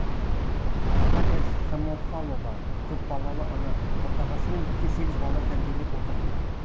наталья самофалова көпбалалы ана отағасымен бірге сегіз бала тәрбиелеп отырмын